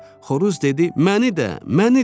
Xoruz dedi: məni də, məni də.